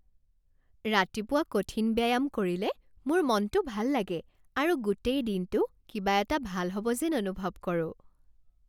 ৰাতিপুৱা কঠিন ব্যায়াম কৰিলে মোৰ মনটো ভাল লাগে আৰু গোটেই দিনটো কিবা এটা ভাল হ'ব যেন অনুভৱ কৰোঁ।